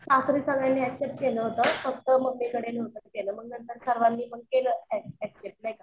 सासरी सगळ्यांनी एक्सेप्ट केलं होतं. फक्त मम्मीकडे नव्हतं केलं मग नंतर मग सर्वांनी केलं एक्सेप्ट नाही का.